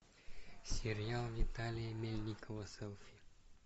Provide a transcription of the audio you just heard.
сериал виталия мельникова селфи